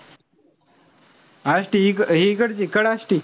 आष्टी हि इकडची कड आष्टी?